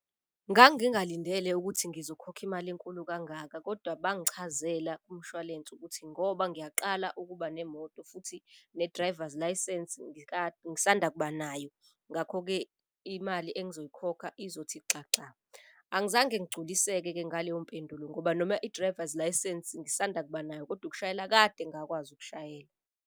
Ngangingalindele ukuthi ngizokhokha imali enkulu kangaka kodwa bangichazela kumshwalense ukuthi ngoba ngiyaqala ukuba nemoto. Futhi ne-driver's licence ngisanda kuba nayo ngakho-ke imali engizoyikhokha izothi xaxa. Angizange ngigculiseke-ke ngaleyo mpendulo ngoba noma i-drivers licence ngisanda kuba nayo kodwa ukushayela, kade ngakwazi ukushayela.